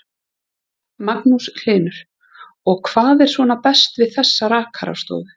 Magnús Hlynur: Og hvað er svona best við þessa rakarastofu?